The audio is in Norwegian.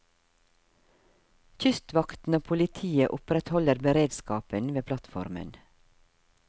Kystvakten og politiet opprettholder beredskapen ved plattformen.